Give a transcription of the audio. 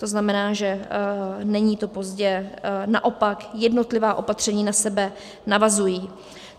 To znamená, že není to pozdě, naopak, jednotlivá opatření na sebe navazují.